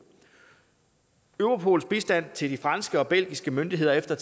europols bistand til de franske og belgiske myndigheder efter